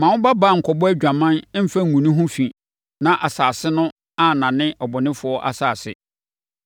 “ ‘Mma wo babaa nkɔbɔ adwaman mfa ngu ne ho fi na asase no annane abɔnefoɔ asase.